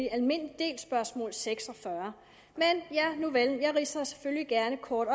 almindelig del spørgsmål seks og fyrre men nuvel jeg ridser selvfølgelig gerne kort